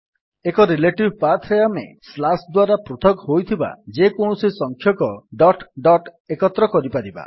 ଏକ relative path ରେ ଆମେ ନ୍ୟାରେସନ୍ ସ୍ଲାସ୍ ଦ୍ୱାରା ପୃଥକ ହୋଇଥିବା ଯେକୌଣସି ସଂଖ୍ୟକ ନ୍ୟାରେସନ୍ - ଡଟ୍ ଡଟ୍ ଏକତ୍ର କରିପାରିବା